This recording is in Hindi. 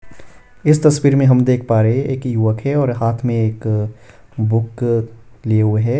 इस तस्वीर में हम देख पा रहे हैं एक युवक है और हाथ में एक बुक लिए हुए हैं।